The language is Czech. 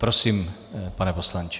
Prosím, pane poslanče.